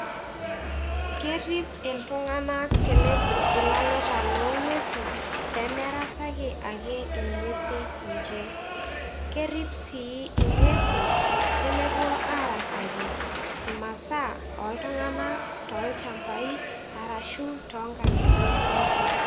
Kerip iltung'anak tenepuo ilaleta lo ng'uesi pee merasaki ake ng'uesi ninje. Kerip sii ing'uesi pee mepuo arasaki imasaa oltung'anak tolchambai arashu too nkang'itie enje.